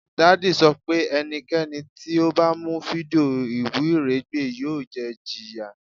Daddy sọ pe ẹnikẹni ti o ba mu fidio iwiregbe yoo jẹ ijiya